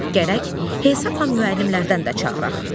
Gərək hesabla müəllimlərdən də çağıraq.